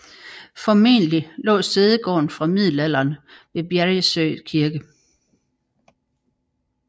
Formentlig lå sædegården fra middelalderen ved Bjäresjö kirke